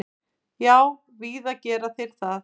Já, víða gera þeir það.